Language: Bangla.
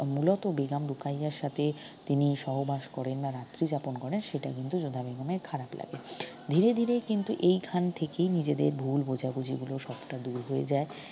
মূলত বেগম রোকাইয়ার সাথে তিনি সহবাস করেননা রাত্রিযাপন করেন সেটা কিন্তু যোধা বেগমের খারাপ লাগে ধীরে ধীরে কিন্তু এইখান থেকেই নিজেদের ভুল বোঝাবুঝি ‍গুলু সবটা দুর হয়ে যায়